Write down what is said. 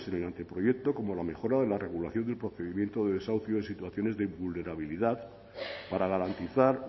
en el anteproyecto como la mejora de la regulación del procedimiento de desahucio en situaciones de vulnerabilidad para garantizar